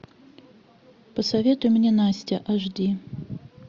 посоветуй мне настя аш ди